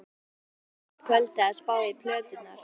Var hjá honum allt kvöldið að spá í plöturnar.